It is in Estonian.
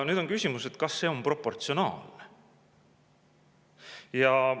Nüüd on küsimus, kas see on proportsionaalne.